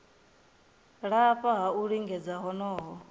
lafha ha u lingedza honoho